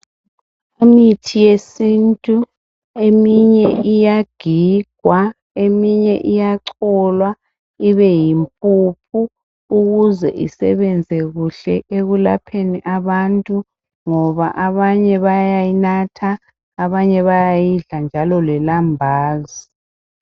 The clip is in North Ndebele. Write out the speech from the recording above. Imithi yesintu, eminye iyagigwa, eminye iyacholwa ibe yimpuphu ukuze isebenze kuhle ekulapheni abantu ngoba abanye bayayinatha, abanye bayayidla njalo lelambazi.